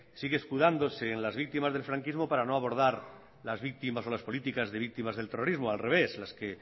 sigue escudándose en las víctimas del franquismo para no abordar las víctimas o las políticas de víctimas del terrorismo o al revés las que